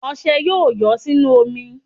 Ọṣẹ́ yóò yọ́ nínú omi